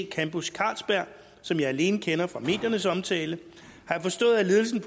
campus carlsberg som jeg alene kender fra mediernes omtale har jeg forstået at ledelsen